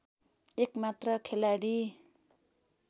एक मात्र खेलाडी